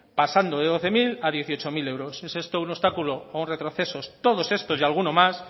pasando de doce mil a dieciocho mil euros es esto un obstáculo o un retroceso todos estos y alguno más